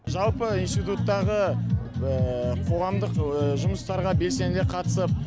жалпы институттағы қоғамдық жұмыстарға белсене қатысып